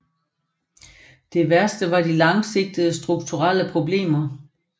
Det værste var de langsigtede strukturelle problemer